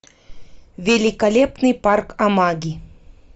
великолепный парк амаги